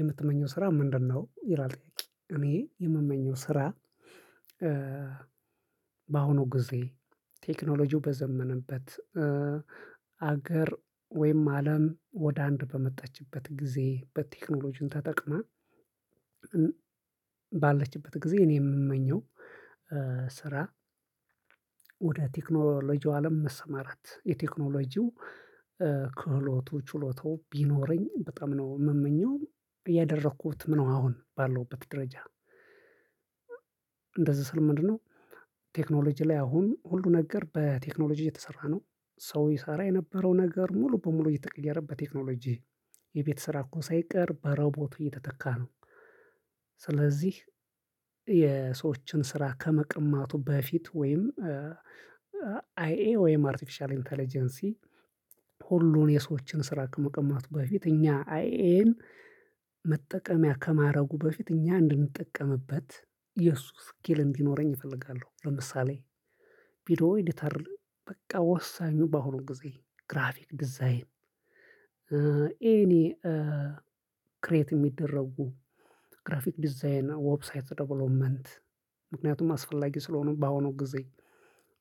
የምትመኘው ስራ ምንድነው? ይላል ጥያቄው እኔ የምመኘው ስራ በአሁኑ ጊዜ ቴክኖሎጂው በዘመነበት ሀገር ወይም አለም ወደ አንድ በመጣችበት ጊዜ በቴክኖሎጂው ተጠቅማ። ባለችበት ጊዜ እኔ የምመኘው ስራ ወደ ቴክኖሎጂው አለም መሰማራት የቴክኖሎጂው ክህሎቱ ችሎታው ቢኖረኝ በጣም ነው የምመኘው እያደረኩትም ነው አሁን ባለውበት ደረጃ። እንደዚህ ስል ምንድነው? ቴክኖሎጂ ላይ አሁን ሁሉ ነገር በቴክኖሎጂ የተሰራ ነው ሰው ይሰራ የነበረው ነገር ሙሉ በሙሉ እየተቀየረ በቴክኖሎጂ የቤት ስራ እንኳን ሳይቀር በሮቦት እየተተካ ነው። ስለዚህ የሰዎችን ስራ ከመቅማቱ በፊት ወይም አይኤ ወይም አርቲፊሻል ኢንተለጀንሲ ሁሉን የሰዎችን ስራ ከመቅማቱ በፊት እኛ አይኤን መጠቀምያ ከማድረጉ በፊት እኛ እንድንጠቀምበት የሱ እስኪል እንዲኖረኝ እፈልጋለሁ። ለምሳሌ ቪዲዮ ኤዲተር በቃ ወሳኙ በአሁኑ ጊዜ ግራፊክ ዲዛይን ኤኒ ክሬት የሚደረጉ ግራፊክ ዲዛይን ዌብሳይት ደቨሎፕመንት ምክንያቱም አስፈላጊ ስለሆኑ በአሁኑ ጊዜ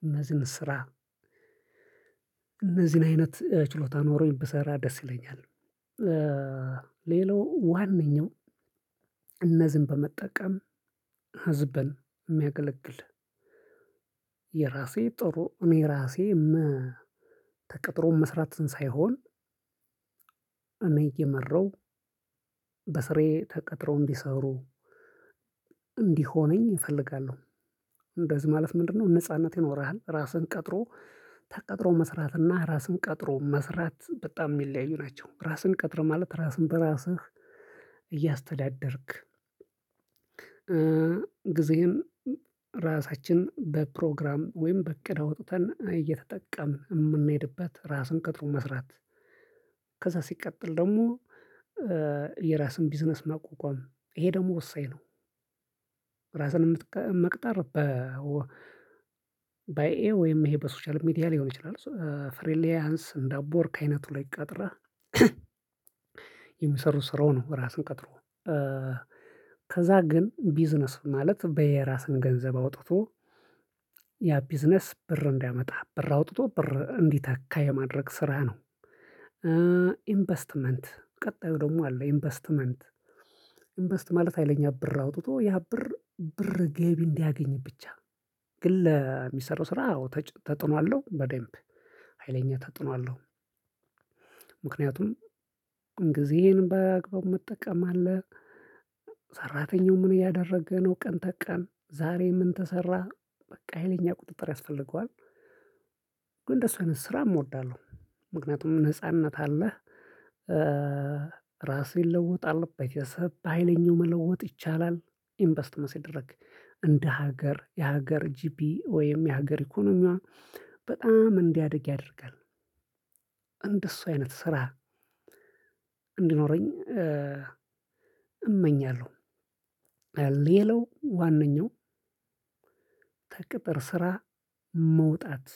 እነዚህን ስራ እነዚህን አይነት ችሎታ ኖሮኝ ብሰራ ደስ ይለኛል። ሌላው ዋነኛው እነዚህን በመጠቀም ህዝብን የሚያገለግል የራሴ ጥሩ እኔ ራሴ ተቀጥሮ መስራትን ሳይሆን እኔ እየመራው በስሬ ተቀጥሮ እንዲሰሩ እንዲሆነኝ እፈልጋለሁ። እንደዚህ ማለት ምንድነው? ነጻነት ይኖርሃል ራስህን ቀጥሮ ተቀጥሮ መስራት እና ራስህን ቀጥሮ መስራት በጣም የሚለያዩ ናቸው። ራስህን ቀጥረ ማለት ራስህን በራስህ እያስተዳደርክ ጊዜህን ራሳችን በፕሮግራም ወይም በእቅድ አውጥተን እየተጠቀምን የምንሄድበት ራስን ቀጥሮ መስራት። ከዛ ሲቀጥል ደግሞ የራስን ቢዝነስ ማቋቋም ይሄ ደግሞ ወሳኝ ነው። ራስን የምትቀመጥ መቅጠር በአይኤ ወይም ይሄ በሶሻል ሚዲያ ሊሆን ይችላል። ፍሪሊያንስ እንደ አፕወርክ አይነቱ ላይ ቀጥረ የሚሰሩ ስራው ነው። ራስን ቀጥሮ ከዛ ግን ቢዝነስ ማለት በየራስን ገንዘብ አውጥቶ ያ ቢዝነስ ብር እንዲያመጣ ብር አውጥቶ ብር እንዲተካ የማድረግ ስራ ነው። ኢንቨስትመንት ቀጣዩ ደግሞ አለ። ኢንቨስትመንት ኢንቨስት ማለት ሀይለኛ ብር አውጥቶ ያ ብር ብር ገቢ እንዲያገኝ ብቻ ግን ለሚሰራው ስራ አዎ ተጽዕኖ አለው በደንብ ሀይለኛ ተጽዕኖ አለው። ምክንያቱም ጊዜዬን በአግባቡ መጠቀም አለ። ሰራተኛው ምን እያደረገ ነው ቀን ተቀን ዛሬ ምን ተሰራ በቃ ሀይለኛ ቁጥጥር ያስፈልገዋል። ግን እንደሱ አይነት ስራም እወዳለሁ ምክንያቱም ነጻነት አለህ። ራሴ እለውጣለሁ ቤተሰብ በሃይለኛው መለወጥ ይቻላል ኢንቨስትመንት ሲደረግ እንደ ሀገር የሀገር ጂፒ ወይም የሀገር ኢኮኖሚዋ በጣም እንዲያድግ ያደርጋል። እንደሱ አይነት ስራ እንዲኖረኝ እመኛለሁ። ሌላው ዋነኛው ከቅጥር ስራ መውጣት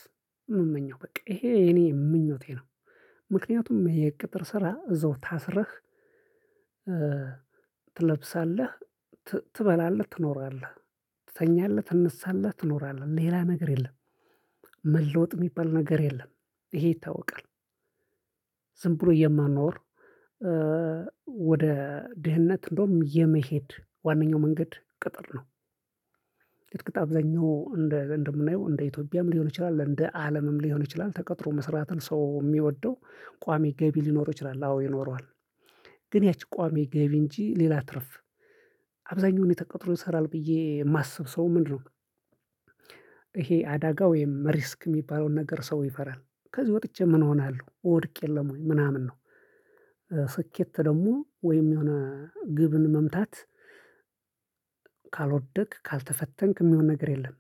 ምመኘው በቃ ይሄ የኔ ምኞቴ ነው። ምክንያቱም የቅጥር ስራ እዛው ታስረህ ትለብሳለህ ትበላለህ ትኖራለህ ትተኛለህ ትነሳለህ ትኖራለህ ሌላ ነገር የለም። መለወጥ የሚባል ነገር የለም። ይሄ ይታወቃል ዝም ብሎ የመኖር ወደ ድህነት እንደውም የመሄድ ዋናኛው መንገድ ቅጥር ነው። እርግጥ አብዛኛው እንደ እንደ እንደምናየው ኢትዮጵያም ሊሆን ይችላል እንደ አለምም ሊሆን ይችላል ተቀጥሮ መስራትን ሰው የሚወደው ቋሚ ገቢ ሊኖር ይችላል አዎ ይኖረዋል። ግን ያቺ ቋሚ ገቢ እንጂ ሌላ ትርፍ አብዛኛውን የተቀጠረው ይሰራል ብዬ የማስብ ሰው ምንድነው? ይሄ አደጋ ወይም ሪስክ የሚባለውን ነገር ሰው ይፈራል። ከዚህ ወጥቼ ምን እሆናለሁ እወድቅየለም ወይ ምናምን ነው? ስኬት ደግሞ ወይም የሆነ ግብን መምታት ካልወደክ ካልተፈተንክ የሚሆን ነገር የለም።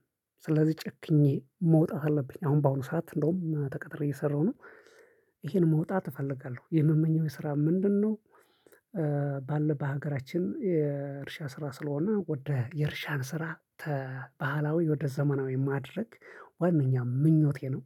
ስለዚህ ጨክኜ መውጣት አለብኝ አሁን በአሁኑ ሰዓት እንደውም ተቀጥሬ እየሰራሁ ነው። ይሄን መውጣት እፈልጋለሁ የምመኘው የስራ ምንድነው? ባለ በሀገራችን የእርሻ ስራ ስለሆነ ወደ የእርሻን ስራ ከባህላዊ ወደ ዘመናዊ ማድረግ ዋናኛው ምኞቴ ነው።